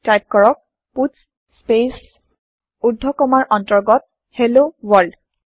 type কৰক পাটছ স্পেচ ঊৰ্ধ কমাৰ অন্তৰ্গত হেল্ল ৱৰ্ল্ড